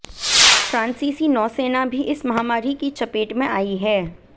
फ्रांसीसी नौसेना भी इस महामारी की चपेट में आई है